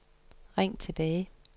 ring tilbage